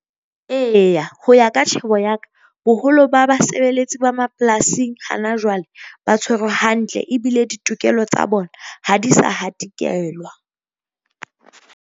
Eya ho ya ka tjhebo ya ka boholo ba basebeletsi ba mapolasing hana jwale, ba tshwerwe hantle ebile ditokelo tsa bona ha di sa hatikelwa.